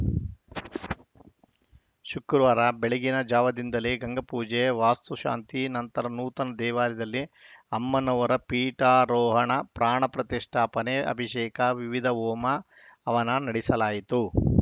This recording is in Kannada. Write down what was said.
ಶುಕ್ರವಾರ ಬೆಳಗಿನ ಜಾವದಿಂದಲೇ ಗಂಗಾಪೂಜೆ ವಾಸ್ತುಶಾಂತಿ ನಂತರ ನೂತನ ದೇವಾಲಯದಲ್ಲಿ ಅಮ್ಮನವರ ಪೀಠಾರೋಹಣ ಪ್ರಾಣ ಪ್ರತಿಷ್ಠಾಪನೆಅಭಿಷೇಕ ವಿವಿಧ ಹೋಮ ಹವನ ನಡೆಸಲಾಯಿತು